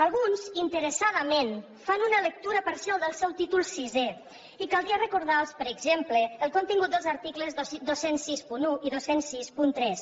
alguns interessadament fan una lectura parcial del seu títol sisè i caldria recordarlos per exemple el contingut dels articles dos mil seixanta u i dos mil seixanta tres